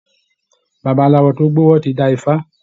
Babalawo tó gbówọ́ ti dá ifá